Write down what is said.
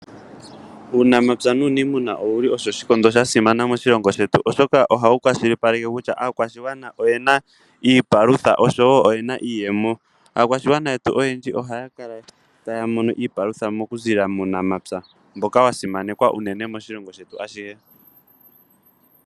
Uunamapya nuniimuna owuli osho oshikondo shasimana moshilongo shetu, oshoka ohawu kwashilipaleke kutya aakwashigwana oyena iipalutha, oshowo iiyemo. Aakwashigwana yetu oyendji ohaya kala taya mono iipalutha okuziilila muunampya, mboka wasimanekwa moshilongo shetu ashihe.